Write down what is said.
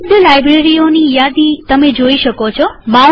ઉપલબ્ધ લાઈબ્રેરીઓની યાદી જોઈ શકો છો